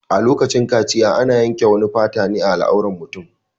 A lokacin kaciya ana yanke wani fata ne a al'auran mutum